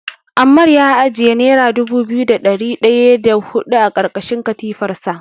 Ammar ya ajiye nera dubu biyu da ɗari ɗaya da huɗu a ƙarƙashin katifarsa.